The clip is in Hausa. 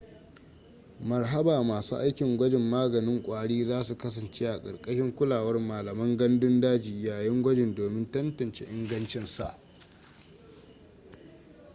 maharba masu aikin gwajin maganin kwari zasu kasance karkashin kulawar malaman gandun daji yayin gwajin domin tantance ingancinsa